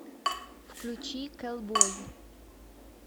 включи кэлбой